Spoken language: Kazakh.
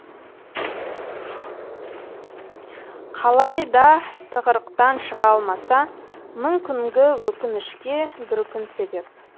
қалайда тығырықтан шыға алмаса мың күнгі өкінішке бір күн себеп